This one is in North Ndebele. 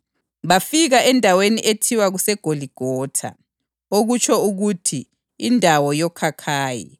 Bafika endaweni ethiwa kuseGoligotha (okutsho ukuthi “Indawo yoKhakhayi”).